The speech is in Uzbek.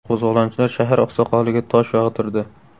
Qo‘zg‘olonchilar shahar oqsoqoliga tosh yog‘dirdi.